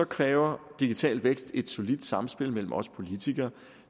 kræver digital vækst et solidt samspil mellem os politikere